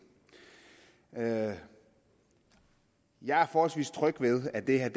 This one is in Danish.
jeg jeg er forholdsvis tryg ved at det her